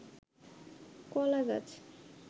কলা গাছ